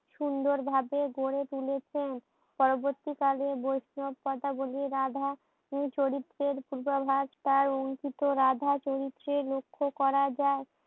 সুন্দর ভাবে গড়ে তুলেছেন। পরবর্তীকালে ঐসব কথা বলে রাধা চরিত্রের পূর্বাবাস তার অংকিত রাধা চরিত্রে লক্ষ্য করা যায়।